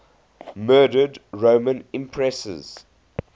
murdered roman empresses